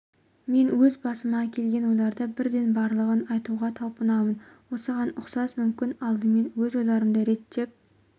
мен өз басыма келген ойларды бірден барлығын айтуға талпынамын осыған ұқсас мүмкін алдымен өз ойларымды реттеп